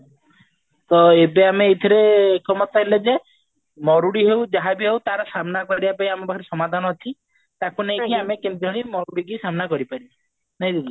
ତ ଏବେ ଆମେ ଏଇଥିରୁ ଏକମତ ହେଲେ ଯେ ମରୁଡି ହଉ ଯାହାବି ହଉ ତାର ସାମ୍ନା କରିବା ପାଇଁ ଆମ ପାଖରେ ସମାଧାନ ଅଛି ତାକୁ ନେଇକି ଆମେ କିଭଳି ମରୁଡି କୁ ସାମ୍ନା କରିପାରିବା ନାଇଁ ଦିଦି